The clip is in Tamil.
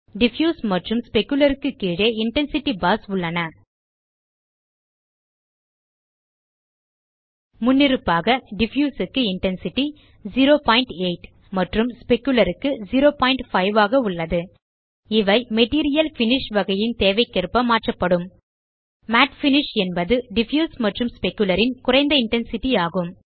டிஃப்யூஸ் மற்றும் ஸ்பெக்குலர் க்கு கீழே இன்டென்சிட்டி பார்ஸ் உள்ளன முன்னிருப்பாக டிஃப்யூஸ் க்கு இன்டென்சிட்டி 08 மற்றும் ஸ்பெக்குலர் க்கு 05 ஆக உள்ளது இவை மெட்டீரியல் பினிஷ் வகையின் தேவைக்கேற்க மாற்றப்படும் மட் பினிஷ் என்பது டிஃப்யூஸ் மற்றும் ஸ்பெக்குலர் ன் குறைந்த இன்டென்சிட்டி ஆகும்